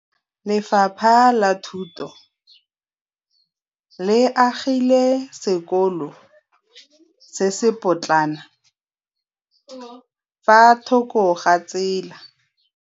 Lefapha la Thuto le agile sekôlô se se pôtlana fa thoko ga tsela.